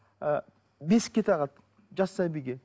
ы бесікке тағады жас сәбиге